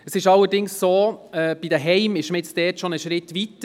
Bei den Heimen ist man allerdings schon einen Schritt weiter;